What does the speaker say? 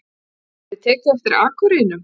hefur verið tekið eftir akurreinum.